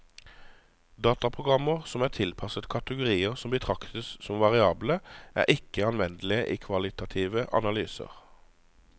Dataprogrammer som er tilpasset kategorier som betraktes som variable, er ikke anvendelige i kvalitative analyser.